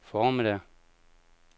formiddag